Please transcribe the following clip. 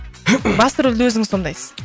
басты рөлді өзіңіз сомдайсыз